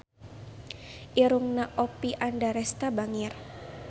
Irungna Oppie Andaresta bangir